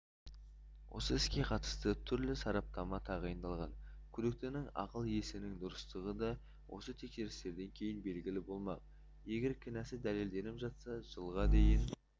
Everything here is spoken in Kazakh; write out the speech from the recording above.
осы іске қатысты түрлі сараптама тағайындалған күдіктінің ақыл-есінің дұрыстығы да осы тексерістерден кейін белгілі болмақ егер кінәсі дәлелденіп жатса жылға дейін